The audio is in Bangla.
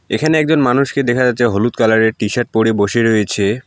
এখানে একজন মানুষকে দেখা যাচ্ছে হলুদ কালারের টি-শার্ট পরে বসে রয়েছে।